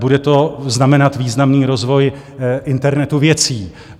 Bude to znamenat významný rozvoj internetu věcí.